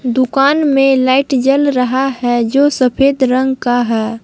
दुकान में लाइट जल रहा है जो सफेद रंग का है।